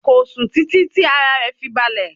Kò sùn títí tí ara rẹ̀ fi balẹ̀.